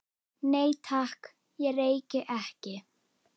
Nei, takk, ég reyki ekki